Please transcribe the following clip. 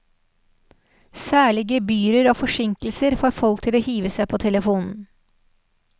Særlig gebyrer og forsinkelser får folk til å hive seg på telefonen.